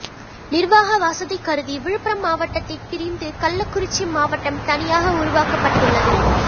நிர்வாக வசதிகருதி விழுப்புரம் மாவட்டத்தை பிரிந்து கள்ளக்குறிச்சி மாவட்டம் தனியாக உருவாக்கப்பட்டுள்ளது